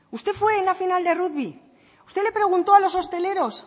usted fue en la final de rugby usted le preguntó a los hosteleros